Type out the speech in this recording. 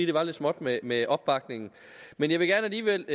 det var lidt småt med med opbakning men jeg vil alligevel